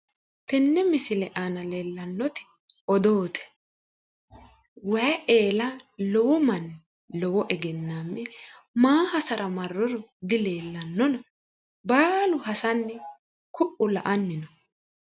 Tenne misile aana leeltannoti odoote. waayi eela lowo manni lowo egenaammi leeltanno, maa hasara marinoro dileellannona, baalu hasanni ku'u la'anni no.